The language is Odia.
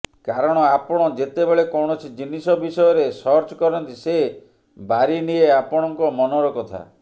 କାରଣ ଆପଣ ଯେତେବେଳେ କୌଣସି ଜିନିଷ ବିଷୟରେ ସର୍ଚ୍ଚକରନ୍ତି ସେ ବାରିନିଏ ଆପଣଙ୍କ ମନର କଥା